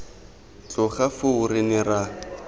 tloga foo re ne ra